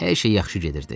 Hər şey yaxşı gedirdi.